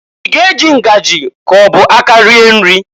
I ga- eji ngajị k'ọ bụ aka rie nri?